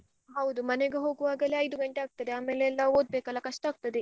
ಹೌದು ಮನೆಗೆ ಹೋಗುವಾಗಲೇ ಐದು ಗಂಟೆ ಆಗ್ತದೆ ಆಮೇಲೆ ಎಲ್ಲ ಓದ್ಬೇಕಲ್ಲ ಕಷ್ಟ ಆಗ್ತದೆ.